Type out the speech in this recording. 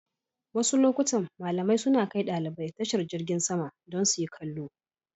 Wasu lokutan malamai suna kai ɗalibai tashar jingin sama don su yi kallo.